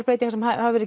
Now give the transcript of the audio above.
breytingar sem